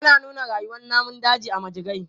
Ana nuna rayuwan namun daji a majigai.